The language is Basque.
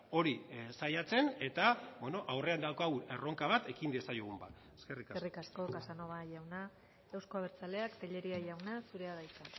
hori saiatzen eta bueno aurrean daukagun erronka bat ekin diezaiogun bat eskerrik asko eskerrik asko casanova jauna euzko abertzaleak tellería jauna zurea da hitza